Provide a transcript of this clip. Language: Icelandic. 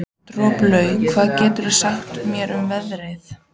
Droplaug, hvað geturðu sagt mér um veðrið?